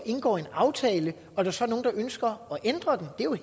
indgår en aftale og der så er nogle der ønsker at ændre den og